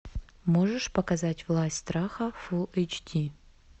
можешь показать власть страха фул эйч ди